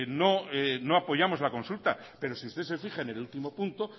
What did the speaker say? no apoyamos la consulta pero si ustedes se fijan en el último punto